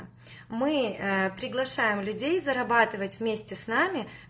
мы приглашаем людей зарабатывать вместе с нами